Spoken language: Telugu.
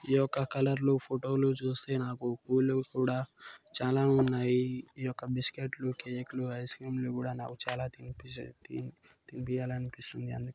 ఈ యొక్క కలర్లు ఫోటో లు చూస్తే నాకు కూడా చాలా ఉన్నాయి ఈ యొక్క బిస్కెట్లు కేకు లు ఐస్ క్రీమ్లు కూడా నాకు తినిపియ్యాలి అనిపిస్తుంది